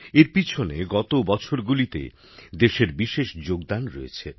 এর পিছনে গত কয়েক বছরে দেশের নানা পদক্ষেপের প্রভাব রয়েছে